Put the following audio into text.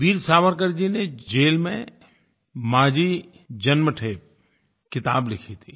वीर सावरकर जी ने जेल में माज़ी जन्मठे किताब लिखी थी